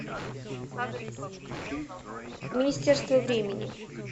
министерство времени